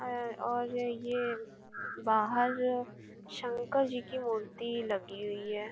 एं और ये बाहर शंकर जी की मूर्ति लगी हुई है।